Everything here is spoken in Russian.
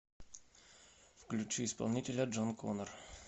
включи исполнителя джон коннор